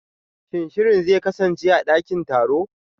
Shin shirin zai kasance a dakin taro?